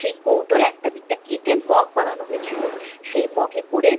সেই কৌটোর একটা দিকটা কেটে মগ বানানো হয়েছিল। সেই মগে করে